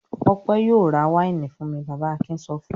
"Ọpẹ́ yóò ra wáìnì fún mi!" Bàbá Akin sọ fún un.